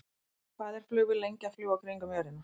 Hvað er flugvél lengi að fljúga kringum jörðina?